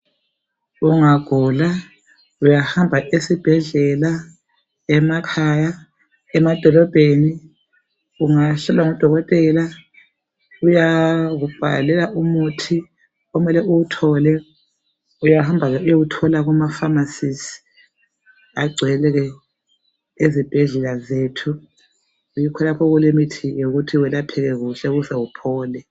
Ungagula uyahamba esibhedlela emakhaya emadolobheni ungahlolwa ngudokotela uyakubhalela umuthi okumele uwuthole uyahamba ke uyewuthola kuma pharmacies agcwele ke ezibhedlela zethu yikho lapho okulemithi yokuthi welapheke kuhle uhle uphole.